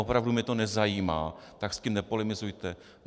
Opravdu mě to nezajímá, tak s tím nepolemizujte.